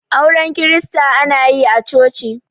auren kirista ana yi a choci